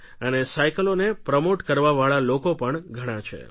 અને સાઇકલોને પ્રમોટ કરવાવાળા લોકો પણ ઘણાં છે